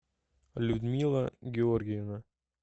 людмила георгиевна